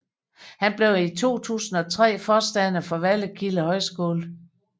Han blev i 2003 forstander for Vallekilde Højskole